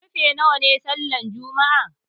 Karfe nawa ne sallan juma'a?